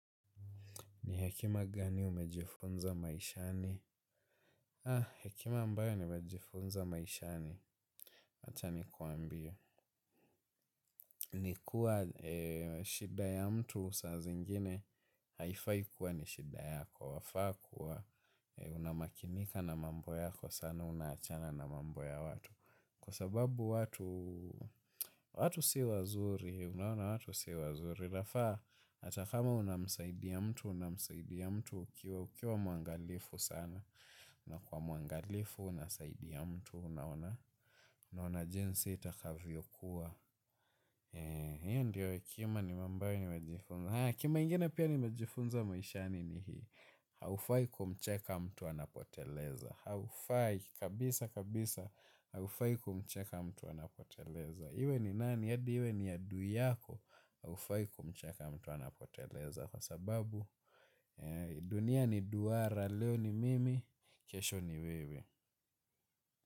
Ni hekima gani umejifunza maishani? Ah, hekima ambayo imejifunza maishani. Wacha ni kwambie. Ni kuwa shida ya mtu saa zingine haifai kuwa ni shida yako wafaa kuwa unamakinika na mambo yako sana unaachana na mambo ya watu. Kwa sababu watu, watu si wazuri, unaona watu si wazuri. Unafaa hata kama unamsaidia mtu, unamsaidia mtu ukiwa mwangalifu sana. Unakua mwangalifu unasaidia mtu unaona jinsi itakavyokuwa hiyo ndiyo hekima ambayo nimejifunza hekima ingine pia nimejifunza maishani ni hii haufai kumcheka mtu anapoteleza haufai kabisa kabisa haufai kumcheka mtu anapoteleza iwe ni nani? Adi iwe ni adui yako haufai kumcheka mtu anapoteleza kwa sababu dunia ni duara leo ni mimi kesho ni wewe.